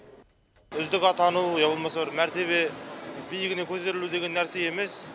үздік атану я болмаса бір мәртебе биігіне көтерілу деген нәрсе емес